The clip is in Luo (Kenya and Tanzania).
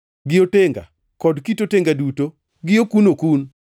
gi otenga kod kit otenga duto, gi okun-okun,